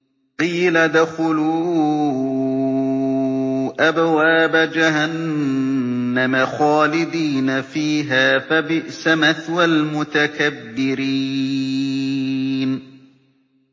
قِيلَ ادْخُلُوا أَبْوَابَ جَهَنَّمَ خَالِدِينَ فِيهَا ۖ فَبِئْسَ مَثْوَى الْمُتَكَبِّرِينَ